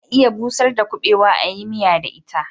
Ana iya busar da kuɓewa a yi miya da ita